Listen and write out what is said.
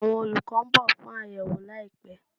Awọn olukọ n bọ fun ayewo laipẹ